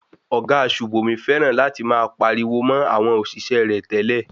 Ọ̀gá Sùbòmí fẹ́ràn láti máa pariwo mo àwọn òṣìṣẹ́ rẹ̀ tẹ́lẹ̀.